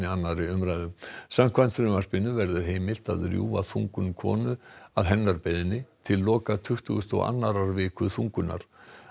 annarri umræðu samkvæmt frumvarpinu verður heimilt að rjúfa þungun konu að hennar beiðni til loka tuttugustu og annarrar viku þungunar